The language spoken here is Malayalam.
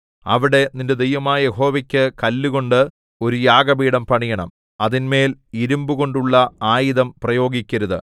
അവിടെ നിന്റെ ദൈവമായ യഹോവയ്ക്ക് കല്ലുകൊണ്ട് ഒരു യാഗപീഠം പണിയണം അതിന്മേൽ ഇരിമ്പുകൊണ്ടുള്ള ആയുധം പ്രയോഗിക്കരുത്